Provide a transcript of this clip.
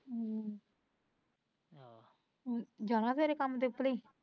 ਹਮ ਆਹ ਜਾਣਾ ਸਵੇਰੇ ਕੰਮ ਤੇ ਉਪਲੀ